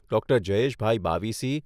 doctor Jayeshbhai Bavisi